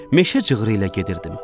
Meşə cığırı ilə gedirdim.